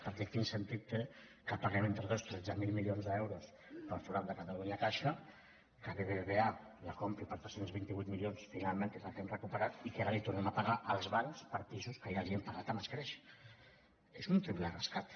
perquè quin sentit té que paguem entre tots tretze mil milions d’euros per al forat de catalunya caixa que bbva la compri per tres cents i vint vuit milions finalment que és el que hem recuperat i que ara tornem a pagar als bancs per pisos que ja els hem pagat amb escreix és un triple rescat